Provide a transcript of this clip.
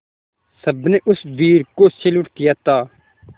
सबने उस वीर को सैल्यूट किया था